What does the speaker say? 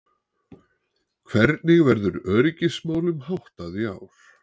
Hvernig verður öryggismálum háttað í ár?